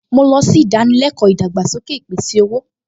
Mo lọ sí ìdánilẹ́kọ̀ọ́ ìdàgbàsókè ìpèsè-owó